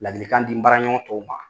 Ladilikan di n baraɲɔgɔn tɔw ma